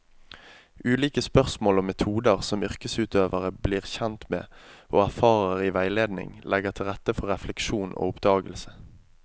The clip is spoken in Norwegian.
Ulike spørsmål og metoder som yrkesutøverne blir kjent med og erfarer i veiledning, legger til rette for refleksjon og oppdagelse.